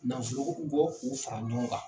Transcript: Nafolo k'u fara ɲɔgɔn kan.